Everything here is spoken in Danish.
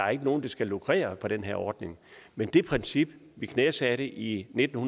er nogen der skal lukrere på den her ordning men det princip vi knæsatte i nitten